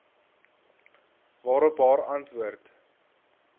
waarop haar antwoord